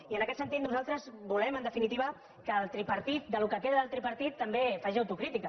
i en aquest sentit nosaltres volem en definitiva que el tripartit el que queda del tripartit també faci au·tocrítica